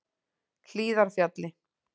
Hlíðarfjalli